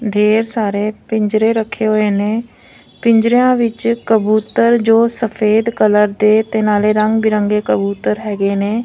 ਢੇਰ ਸਾਰੇ ਪਿੰਜਰੇ ਰੱਖੇ ਹੋਏ ਨੇ ਪਿੰਜਰਿਆਂ ਵਿੱਚ ਕਬੂਤਰ ਜੋ ਸਫੇਦ ਕਲਰ ਦੇ ਤੇ ਨਾਲੇ ਰੰਗ ਬਿਰੰਗੇ ਕਬੂਤਰ ਹੈਗੇ ਨੇ।